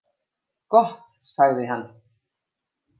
Gott sagði hann.